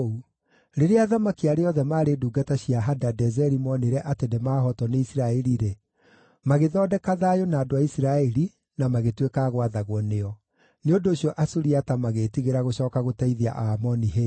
Rĩrĩa athamaki arĩa othe maarĩ ndungata cia Hadadezeri moonire atĩ nĩmahootwo nĩ Isiraeli-rĩ, magĩthondeka thayũ na andũ a Isiraeli na magĩtuĩka a gwathagwo nĩo. Nĩ ũndũ ũcio Asuriata magĩĩtigĩra gũcooka gũteithia Aamoni hĩndĩ ĩngĩ.